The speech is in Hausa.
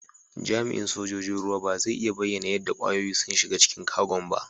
Jami'in sojoji'n ruwa ba zai iya bayyana yadda kwayoyin sun shiga cikin Kagon' ba.